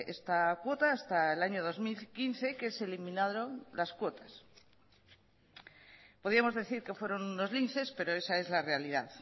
esta cuota hasta el año dos mil quince que se eliminaron las cuotas podíamos decir que fueron unos linces pero esa es la realidad